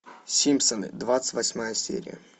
симпсоны двадцать восьмая серия